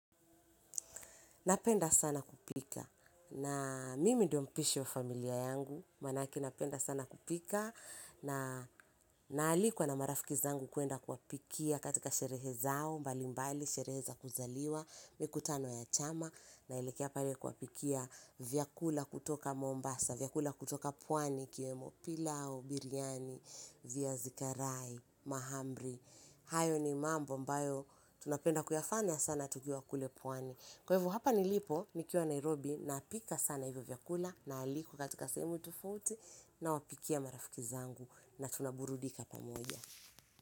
Napenda sana kupika, na mimi ndio mpishi wa familia yangu, maanake napenda sana kupika, na naalikwa na marafiki zangu kuenda kuwapikia katika sherehe zao, mbalimbali, sherehe za kuzaliwa, mikutano ya chama, naelekea pare kuwapikia vyakula kutoka Mombasa, vyakula kutoka Pwani, ikiwemo Pilau, Biryani, Viazikarai, Mahamri, hayo ni mambo ambayo, tunapenda kuyafanya sana tukiwa kule Pwani. Kwa hivo, hapa nilipo, nikiwa Nairobi, napika sana hivyo vyakula, naalikwa katika sehemu tofauti, nawapikia marafiki zangu, na tunaburudika pamoja.